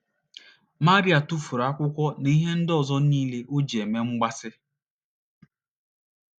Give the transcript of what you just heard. Maria tụfuru akwụkwọ na ihe ndị ọzọ niile o ji eme mgbaasị.